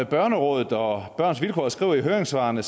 børnerådet og børns vilkår skriver i høringssvarene